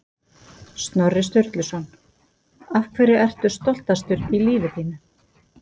Snorri Sturluson Af hverju ertu stoltastur í lífi þínu?